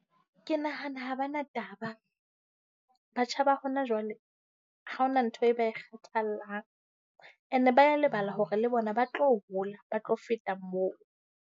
Ke nahana ha bana taba. Batjha ba hona jwale ha ho na ntho eo ba e kgathallang. Ene ba a lebala hore le bona ba tlo hola, ba tlo feta moo.